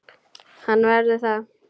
Hann verður það.